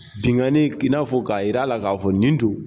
Binkani i n'a fɔ k'a jir'a la k'a fɔ nin don.